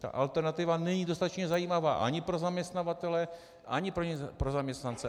Ta alternativa není dostatečně zajímavá ani pro zaměstnavatele, ani pro zaměstnance.